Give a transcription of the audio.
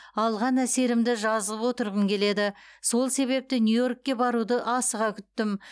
алған әсерімді жазып отырғым келеді сол себепті нью йоркке баруды асыға күттім